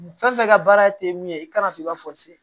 Fɛn fɛn ka baara te min ye i kana f'i b'a fɔ se